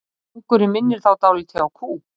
Gangurinn minnir þá dálítið á kú.